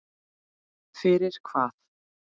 Fyrir hvað?